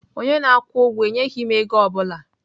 Onye na-akwụ ụgwọ enyeghị m ego ọ bụla.